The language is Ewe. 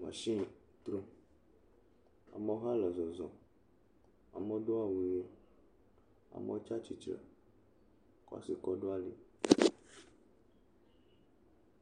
mashini trom. Amewo hã le zɔzɔm. Amewo do awu ʋee. Amewo tsa tsitre kɔ asi kɔ ɖo ali.